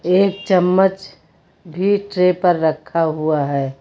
एक चम्मच भी ट्रे पर रखा हुआ है।